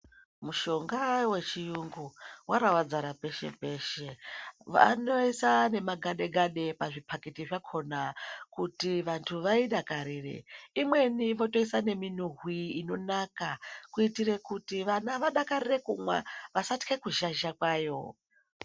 Mushonga wechiyungu waravadzara peshe peshe, vanoise nemagade gade pazvipaketi zvakona kuti vantu vaidakarire, imweni votoisa nemunhuwi inonaka kuitire kuti vana vadakarire kumwa vasatye kuzhazha kwayo.